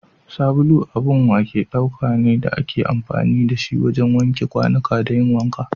Sabulu abun wake ɗauka ne da ake amfani da shi wajen wanke kwanuka da yin wanka.